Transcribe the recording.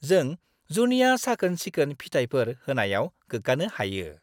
जों जुनिया साखोन-सिखोन फिथायफोर होनायाव गोग्गानो हायो।